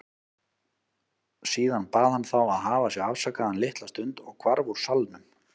Síðan bað hann þá að hafa sig afsakaðan litla stund og hvarf úr salnum.